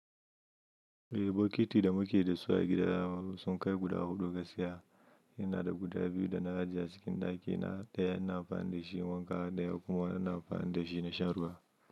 Eh, bokiti da muke da su a gida sun kai guda huɗu. Gasiya ina da guda biyu da na ajiye a cikin ɗakina. Ɗaya ina amfani da shi wanka, ɗaya kuma ina amfani da shi na shan ruwa.